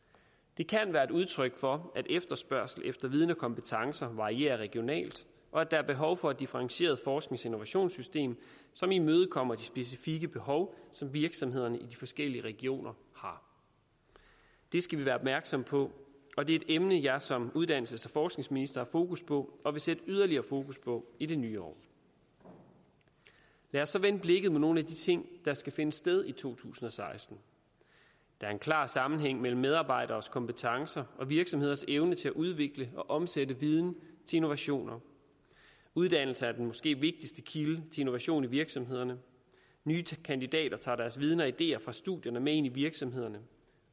det kan være et udryk for at efterspørgsel efter viden og kompetencer varierer regionalt og at der er behov for et differentieret forsknings og innovationssystem som imødekommer de specifikke behov som virksomhederne i de forskellige regioner har det skal vi være opmærksomme på og det er et emne som jeg som uddannelses og forskningsminister fokus på og vil sætte yderligere fokus på i det nye år lad os så vende blikket mod nogle af de ting der skal finde sted i to tusind og seksten der er en klar sammenhæng mellem medarbejderes kompetencer og virksomheders evne til at udvikle og omsætte viden til innovation uddannelse er den måske vigtigste kilde innovation i virksomhederne nye kandidater tager deres viden og ideer fra studierne med ind i virksomhederne